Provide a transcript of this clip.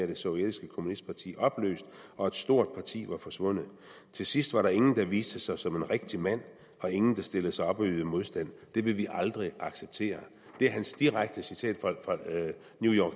det sovjetiske kommunistparti opløst og et stort parti var forsvundet til sidst var der ingen der viste sig som en rigtig mand og ingen der stillede sig op og ydede modstand det vil vi aldrig acceptere det er hans direkte citat fra new york